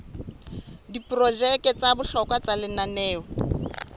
diprojeke tsa bohlokwa tsa lenaneo